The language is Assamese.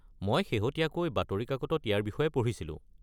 মই শেহতীয়াকৈ বাতৰিকাকতত ইয়াৰ বিষয়ে পঢ়িছিলো।